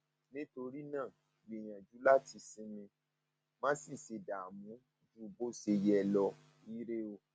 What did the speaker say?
nítorí náà gbìyànjú láti sinmi má sì ṣe dààmú sì ṣe dààmú ju bó ṣe yẹ lọ ire o